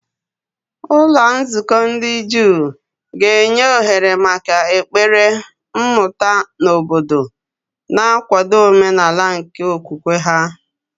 Ụlọ nzukọ ndị Juu ga-enye ohere maka ekpere, mmụta, na obodo, na-akwado omenala nke okwukwe ha.